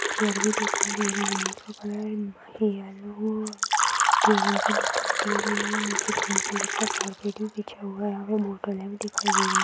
Chair भी दिखाई दे रहे है| यहाँ भी दिखाई दे रही है| नीचे ग्रीन कलर का कार्पेट भी बीछा हुया है। यहाँ दिखाई दे रही |